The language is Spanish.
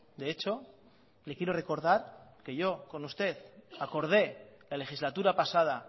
de hecho le quiero recordar que yo con usted acordé la legislatura pasada